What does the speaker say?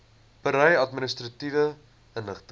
berei administratiewe inligting